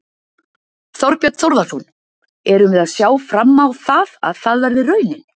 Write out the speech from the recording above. Þorbjörn Þórðarson: Erum við að sjá fram á það, að það verði raunin?